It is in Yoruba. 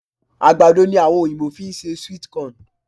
Àgbàdo ni àwọn Oyìnbó fi ń ṣe sweet corn